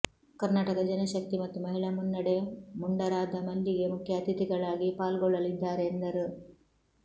ಕರ್ನಾಟಕ ಜನಶಕ್ತಿ ಮತ್ತು ಮಹಿಳಾ ಮುನ್ನಡೆ ಮುಂಡರಾದ ಮಲ್ಲಿಗೆ ಮುಖ್ಯಅತಿಥಿಗಳಾಗಿ ಪಾಲ್ಗೊಳ್ಳಲಿದ್ದಾರೆ ಎಂದರು